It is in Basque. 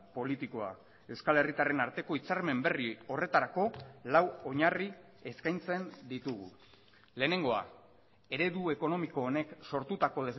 politikoa euskal herritarren arteko hitzarmen berri horretarako lau oinarri eskaintzen ditugu lehenengoa eredu ekonomiko honek sortutako